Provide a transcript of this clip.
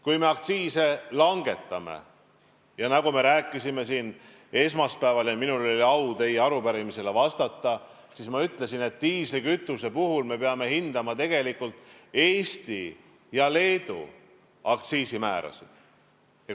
Kui me aktsiise langetame – nagu me rääkisime siin esmaspäeval, kui minul oli au teie arupärimisele vastata –, siis diislikütuse puhul me peame hindama tegelikult Eesti ja Leedu aktsiisimäärasid.